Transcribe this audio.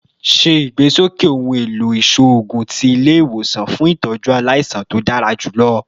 Ṣe igbesoke ohun elo iṣoogun ti ile-iwosan fun itọju alaisan to dara julọ